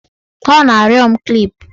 Ọ na-arịọ m klip